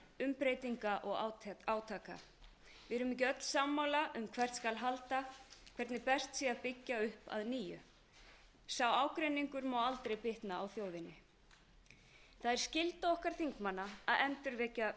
umbreytinga og átaka við erum ekki öll sammála um hvert skal halda hvernig best sé að byggja upp að nýju sá ágreiningur má aldrei bitna á þjóðinni það er skylda okkar þingmanna að endurvekja